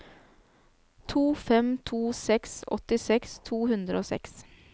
to fem to seks åttiseks to hundre og seks